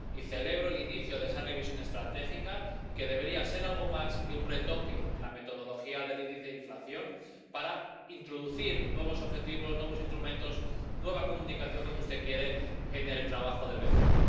Y celebro el inicio de esa revisión estratégica, que debería ser algo más que un retoque en la metodología del índice de inflación, para introducir nuevos objetivos, nuevos instrumentos, nueva comunicación —como usted quiere— en el trabajo del BCE.